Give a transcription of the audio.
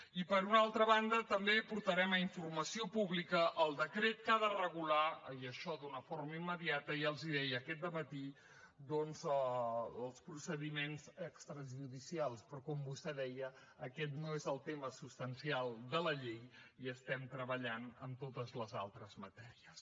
i per una altra banda també portarem a informació pública el decret que ha de regular i això d’una forma immediata ja els ho deia aquest dematí doncs els procediments extrajudicials però com vostè deia aquest no és el tema substancial de la llei i estem treballant en totes les altres matèries